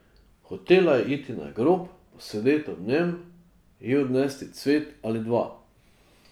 Hotela je iti na grob, posedeti ob njem, ji odnesti cvet ali dva.